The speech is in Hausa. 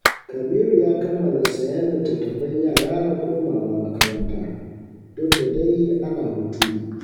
Kabiru ya kammala sayen littattafan yara na komawa makaranta, duk da dai ana hutu ne